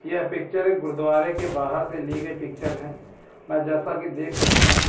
यह पिक्चर एक गुरुद्वारे के बाहर से लिए गए पिक्चर हैं मैं जैसा कि देख सकता हूं।